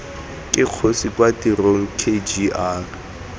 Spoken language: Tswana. ke kgosi kwa tirong kgr